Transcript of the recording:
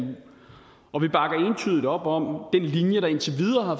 og vi bakker entydigt op om den linje der indtil videre har